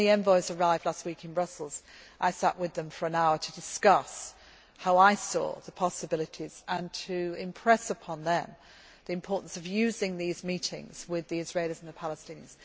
When the envoys arrived last week in Brussels, I sat with them for an hour to discuss how I saw the possibilities and to impress upon them the importance of using these meetings with the Israelis and the Palestinians.